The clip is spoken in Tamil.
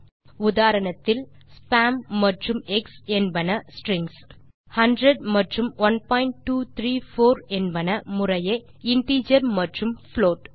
முந்தைய உதாரணத்தில் ஸ்பாம் மற்றும் எக்ஸ் என்பன ஸ்ட்ரிங்ஸ் 100 மற்றும் 1234 என்பன முறையே இன்டிஜர் மற்றும் புளோட்